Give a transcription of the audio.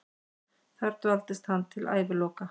Þar dvaldist hann til æviloka.